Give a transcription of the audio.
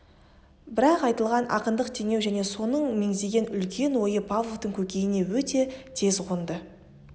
бірақ айтылған ақындық теңеу және соның мегзеген үлкен ойы павловтың көкейіне өте тез қонды